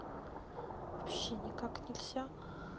вообще никак нельзя